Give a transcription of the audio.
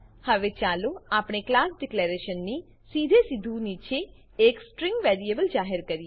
હવે ચાલો આપણે ક્લાસ ડિક્લેરેશન ડીકલેરેશન ની સીધેસીધું નીચે એક સ્ટ્રીંગ વેરીએબલ જાહેર કરીએ